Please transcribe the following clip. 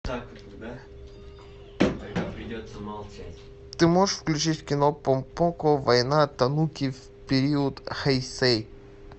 ты можешь включить кино помпоко война тануки в период хэйсэй